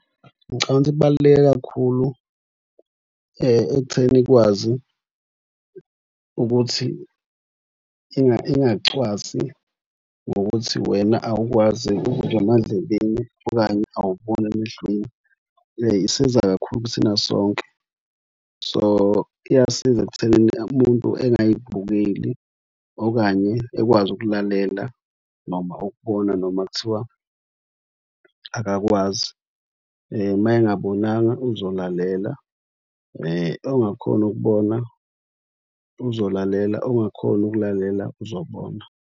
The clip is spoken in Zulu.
Ngicabanga ukuthi kubaluleke kakhulu ekutheni ikwazi ukuthi ingacwasi ngokuthi wena awukwazi ukuzwa emadlebeni okanye awuboni emehlweni. Isiza kakhulu kuthina sonke. So, iyasiza ekuthenini umuntu engayibukeli okanye ekwazi ukulalela noma ukubona noma kuthiwa akakwazi mayengabonanga uzolalela. Ongakhoni ukubona uzolalela, ongakhoni ukulalela uzobona.